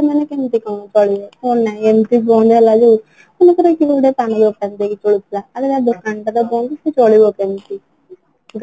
ସେମାନେ କେମିତି କଣ ଚଳିବେ ଏମିତି ବନ୍ଦ ହେଲା ଯୋଉ ମନେ କର କିଏ ଗୋଟେ ପାନ ଦୋକାନ ଦେଇ କି ଚଳୁଥିଲା ତା ଦୋକାନ ଟା ତ ବନ୍ଦ ସେ ଚଳିବ କେମିତି